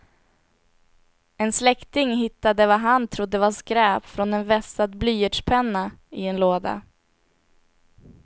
En släkting hittade vad han trodde var skräp från en vässad blyertspenna i en låda.